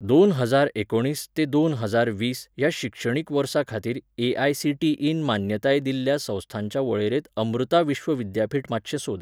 दोन हजार एकुणीस ते दोन हजार वीस ह्या शिक्षणीक वर्साखातीर A I C T E न मान्यताय दिल्ल्या संस्थांच्या वळेरेंत अमृता विश्व विद्यापीठ मातशें सोद.